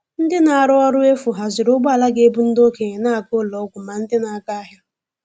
Ndị na-arụ ọrụ efu haziri ụgbọala ga - ebu ndị okenye na - aga n'ụlọ ọgwụ ma ndị na-aga ahịa.